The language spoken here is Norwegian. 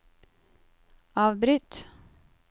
avbryt